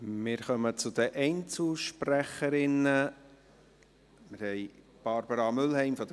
Wir kommen zu den Einzelsprecherinnen.